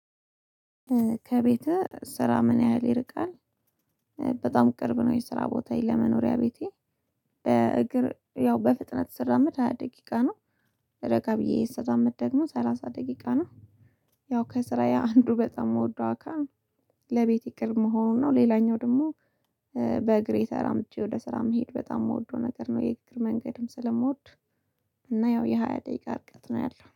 ከቤትህ ስራ ምን ያህል ይርቃል? በጣም ቅርብ ነው የስራ ቦታየ ለመኖሪያ ቤቴ። እግር ያው በፍጥነት ስራመድ ሃያ ደቂቃ ነው። ረጋ ብዬ ስራመድ ደግሞ ሰላሳ ደቂቃ ነው። ያው ከስራዬ አንዱ በጣም የምወደው አካል። ለቤት ቅርብ መሆኑ ነው ሌላኛው ደግሞ። በእግሬ ተራምጀ ወደ ስራ መሄድ በጣም የምወደው ነገር ነው የእግር መንገድም ስለምወድ። እና ያው የሃያ ደቂቃ ርቀት ነው ያለው